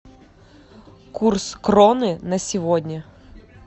курс кроны на сегодня